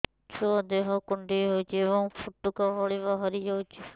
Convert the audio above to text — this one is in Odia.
ଛୁଆ ଦେହ କୁଣ୍ଡେଇ ହଉଛି ଏବଂ ଫୁଟୁକା ଭଳି ବାହାରିଯାଉଛି